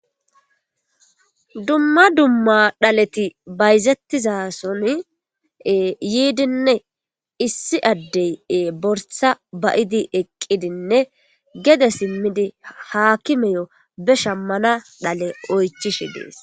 Dumma dumma dhaletti bayzettiza sohon yidinne issi adde ba'ddi eqqidinne geede simmidi haakimmeyo be shamana dhalle oychishe de'es.